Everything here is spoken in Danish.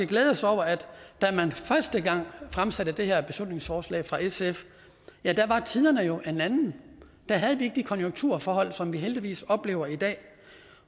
glæde os over at da man første gang fremsatte det her beslutningsforslag fra sf var tiden jo en anden der havde vi ikke de konjunkturforhold som vi heldigvis oplever i dag